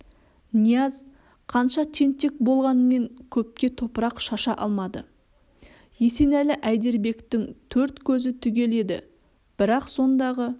нияз қанша тентек болғанмен көпке топырақ шаша алмады есенәлі әйдербектің төрт көзі түгел еді бірақ сондағы